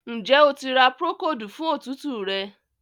Njé O tí ra Procold fún òtútù rẹ.?